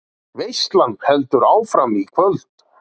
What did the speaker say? Veislan heldur áfram í kvöld